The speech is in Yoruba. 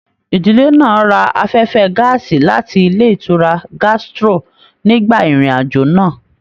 Ìdílé náà rà afẹfẹ gàásí láti ilé ìtura gastro nigba irin-ajo náà.